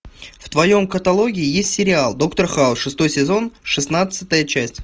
в твоем каталоге есть сериал доктор хаус шестой сезон шестнадцатая часть